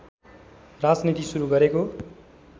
राजनीति सुरु गरेको